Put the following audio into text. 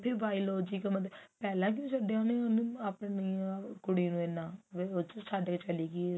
biological mother ਪਹਿਲਾਂ ਕਿਉਂ ਛੱਡਿਆ ਉਹਨੇ ਉਹਨੂੰ ਆਪਣੀ ਆ ਕੁੜੀ ਨੂੰ ਇੰਨਾ ਉਹ ਚ ਛੱਡ ਕਿ ਛਲੀ ਗਈ